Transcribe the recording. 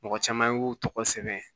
Mɔgɔ caman y'u tɔgɔ sɛbɛn